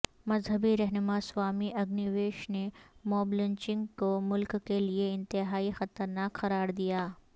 مذہبی رہنما سوامی اگنی ویش نے موب لنچنگ کو ملک کے لئے انتہائی خطرناک قراردیا